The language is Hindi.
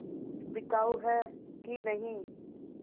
बिकाऊ है कि नहीं